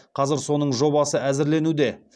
қазір соның жобасы әзірленуде